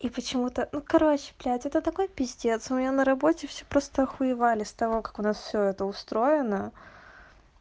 и почему-то ну короче блядь это такой пиздец у меня на работе все просто охуевали с того как у нас всё это устроено